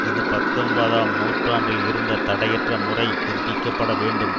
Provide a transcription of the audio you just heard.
இது பத்தொன்பதாம் நூற்றாண்டில் இருந்த தடையற்ற முறை புதுப்பிக்க பட வேண்டும்